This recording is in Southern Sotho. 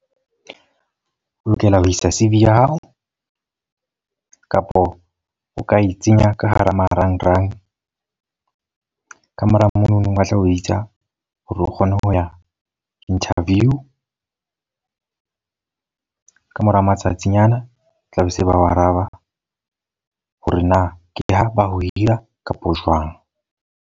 O lokela ho isa C_V ya hao. Kapo o ka e tsenya ka hara marangrang. Ka mora mono ba tla o bitsa hore o kgona ho ya ho interview. Ka mora matsatsinyana, tla be se ba o araba. Hore na ke ha ba o hira kapo jwang.